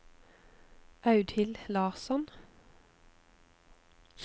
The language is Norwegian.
Audhild Larsson